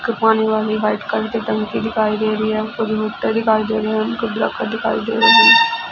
ਇੱਕ ਪਾਣੀ ਵਾਲੀ ਵਾਈਟ ਕਲਰ ਕੀ ਟੰਕੀ ਦਿਖਾਈ ਦੇ ਰਹੀ ਹੈ ਫੁਲ ਬੂਟੇ ਦਿਖਾਈ ਦੇ ਰਹੇ ਹਨ ਦਿਖਾਈ ਦੇ ਰਹੀ ਹੈ।